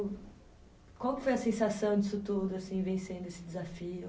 Qual que foi a sensação disso tudo, assim, vencendo esse desafio?